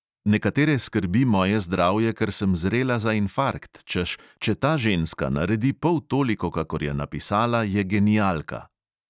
Nekatere skrbi moje zdravje, ker sem zrela za infarkt, češ, če ta ženska naredi pol toliko, kakor je napisala, je genialka.